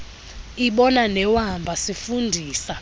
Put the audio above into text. ibona newamba sifundisa